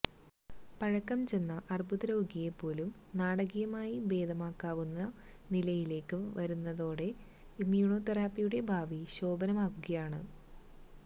പഴക്കംചെന്ന അർബുദരോഗിയെ പോലും നാടകീയമായി ഭേദമാക്കാവുന്ന നിലയിലേക്ക് വളരുന്നതോടെ ഇമ്യൂണോതെറപ്പിയുടെ ഭാവി ശോഭനമാകുകയാണ്